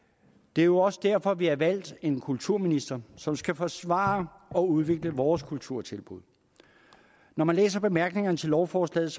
det er jo også derfor vi har valgt en kulturminister som skal forsvare og udvikle vores kulturtilbud når man læser bemærkningerne til lovforslaget